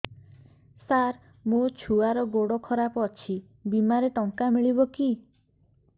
ସାର ମୋର ଛୁଆର ଗୋଡ ଖରାପ ଅଛି ବିମାରେ ଟଙ୍କା ମିଳିବ କି